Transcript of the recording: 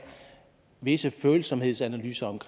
visse følsomhedsanalyser